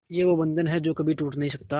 ये वो बंधन है जो कभी टूट नही सकता